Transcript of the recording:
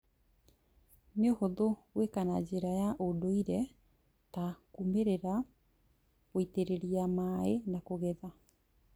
Nĩũhũthũ gwĩka na njĩra ya ũndũire ta kũrĩmĩra, gũitĩrĩria maĩ na kũgetha